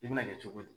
I bɛna kɛ cogo di